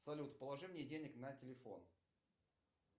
салют положи мне денег на телефон